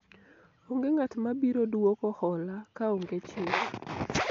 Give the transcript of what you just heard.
onge ng'at mabiro duoko hola kaonge chik